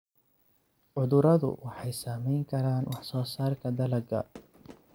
Cuduradu waxay saameyn karaan wax soo saarka dalagga.